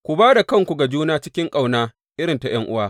Ku ba da kanku ga juna cikin ƙauna irin ta ’yan’uwa.